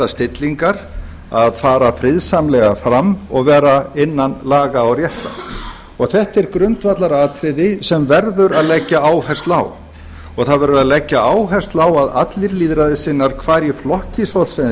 stillingar að fara friðsamlega fram og vera innan laga og réttar þetta er grundvallaratriði sem verður að leggja áherslu á og það verður að leggja áherslu á að allir lýðræðissinnar hvar í flokki svo sem þeir